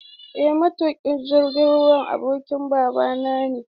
Eh matuƙin jirgin ruwan abokin babana ne.